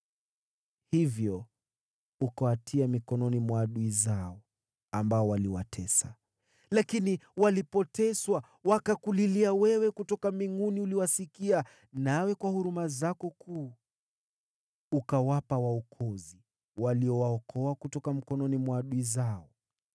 Hivyo ukawatia mikononi mwa adui zao, ambao waliwatesa. Lakini walipoteswa, wakakulilia wewe. Kutoka mbinguni uliwasikia, nawe kwa huruma zako kuu ukawapa waokozi, waliowaokoa kutoka mikononi mwa adui zao.